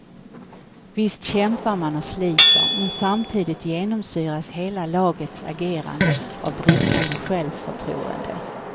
Visst kämpar man och sliter men samtidigt genomsyras hela lagets agerande av bristande självförtroende.